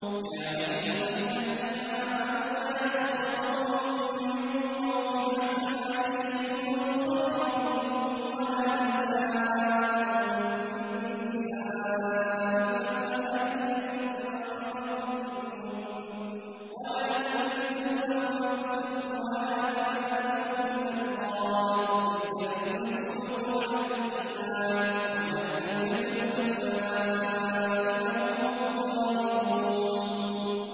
يَا أَيُّهَا الَّذِينَ آمَنُوا لَا يَسْخَرْ قَوْمٌ مِّن قَوْمٍ عَسَىٰ أَن يَكُونُوا خَيْرًا مِّنْهُمْ وَلَا نِسَاءٌ مِّن نِّسَاءٍ عَسَىٰ أَن يَكُنَّ خَيْرًا مِّنْهُنَّ ۖ وَلَا تَلْمِزُوا أَنفُسَكُمْ وَلَا تَنَابَزُوا بِالْأَلْقَابِ ۖ بِئْسَ الِاسْمُ الْفُسُوقُ بَعْدَ الْإِيمَانِ ۚ وَمَن لَّمْ يَتُبْ فَأُولَٰئِكَ هُمُ الظَّالِمُونَ